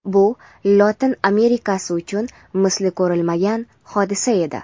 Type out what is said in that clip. bu Lotin Amerikasi uchun misli ko‘rilmagan hodisa edi.